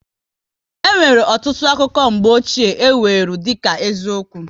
E nwere ọtụtụ akụkọ mgbochie, e weru dịka eziokwu